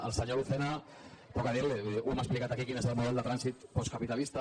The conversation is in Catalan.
al senyor lucena poc a dir li vull dir ho hem explicat aquí quin és el model de trànsit postcapitalista